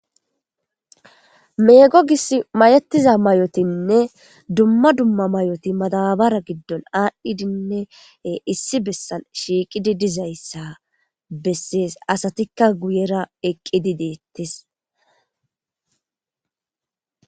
meego gish mayetiza mayotinne dumma dumma mayoti madabara giddon aadhdhidinne issi bessan shiiqidi dizayssa bessees asatikka guyera eqqidi deettes